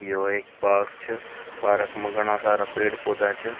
यो एक पार्क छ पार्क में घणा सारा पेड़ पौधा छ।